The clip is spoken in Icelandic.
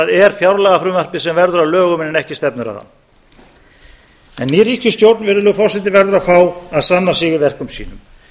það er fjárlagafrumvarpið sem verður að lögum en ekki stefnuræðan ný ríkisstjórn virðulegi forseti verður að fá að sanna sig í verkum sínum